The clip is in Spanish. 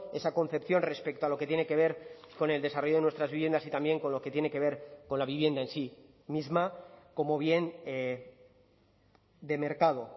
esa concepción respecto a lo que tiene que ver con el desarrollo de nuestras viviendas y también con lo que tiene que ver con la vivienda en sí misma como bien de mercado